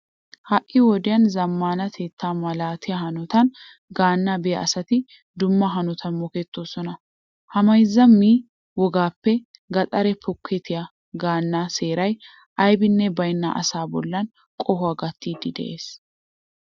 Ha"i wodiyan zammaanatetta malatiya hanotan gaannaa biya asati dumma hanotan mokettoosona. Ha mayzza ma"e wogaappe gaxaara pokettiya gaannaa seeray abbee baynna asaa bollan qohuwa gattiiddi de'ees.